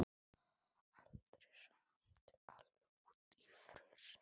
Árún, hvaða mánaðardagur er í dag?